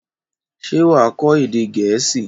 Ṣé wà á kọ́ èdè Gẹ̀ẹ́sì?